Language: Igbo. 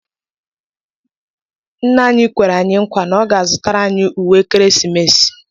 Ńnà anyị kwere anyị nkwa na ọ ga azụtara anyị ùwé ekeresimesi.